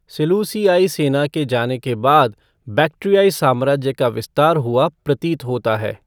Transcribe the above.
सेलूसीआई सेना के जाने के बाद, बक्ट्रियाई साम्राज्य का विस्तार हुआ प्रतीत होता है।